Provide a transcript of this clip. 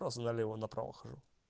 сразу налево направо хожу